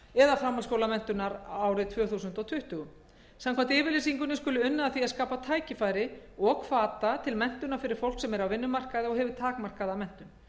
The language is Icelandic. eða framhaldsskólamenntunar árið tvö þúsund tuttugu samkvæmt yfirlýsingunni skuli unnið að því að skapa tækifæri og hvata til menntunar fyrir fólk sem er á vinnumarkaði og hefur takmarkaða menntun